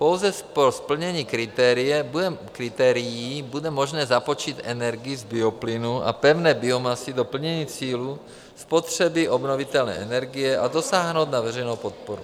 Pouze po splnění kritérií bude možné započítat energii z bioplynu a pevné biomasy do plnění cílů spotřeby obnovitelné energie a dosáhnout na veřejnou podporu.